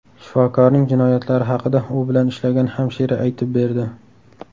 Shifokorning jinoyatlari haqida u bilan ishlagan hamshira aytib berdi.